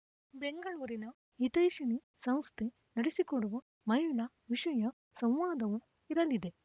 ಬೆಂಗಳೂರಿನ ಹಿತೈಷಿಣಿ ಸಂಸ್ಥೆ ನಡೆಸಿಕೊಡುವ ಮಹಿಳಾ ವಿಷಯ ಸಂವಾದವೂ ಇರಲಿದೆ